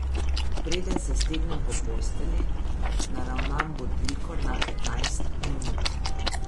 Preden se stegnem po postelji, naravnam budilko na petnajst minut.